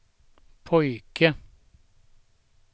pojke